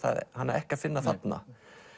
hana ekki að finna þarna